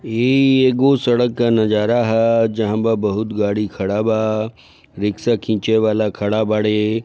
इ एगो सड़क का नज़ारा है जहां बा बहुत गाड़ी खड़ा बा रिक्शा खीचे वला खड़ा बाड़े।